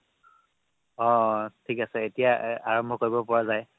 অ' অ থিক আছে এতিয়া এৰ আৰম্ভ কৰিব পৰা যায়